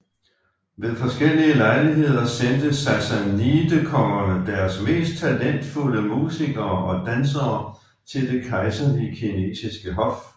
Ved forskellige lejligheder sendte sassanidekongerne deres mest talentfulde musikere og dansere til det kejserlige kinesiske hof